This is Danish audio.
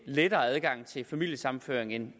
lettere adgang til familiesammenføring end